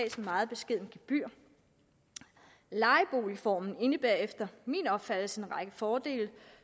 et meget beskedent gebyr lejeboligformen indebærer efter min opfattelse en række fordele